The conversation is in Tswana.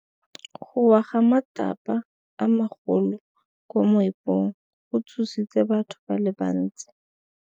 Go wa ga matlapa a magolo ko moepong go tshositse batho ba le bantsi.